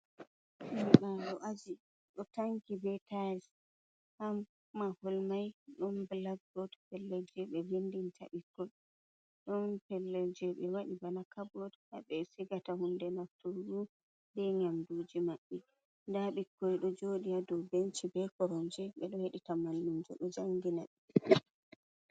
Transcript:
Ɗo'o ɗum aji ɗo tanki bee tais haa mahol mai ɗum blacbot, pellel jey ɓe vinndanta ɓikkoi ɗon pellel je ɓe waɗi bana cabot haa ɓe sigata huunde nafturgu bee nyamduuji maɓɓi, ndaa ɓikkoi ɗo joodi haa dow benchi bee koromje, ɓe ɗo heɗita malumjo ɗo janngina ɓe.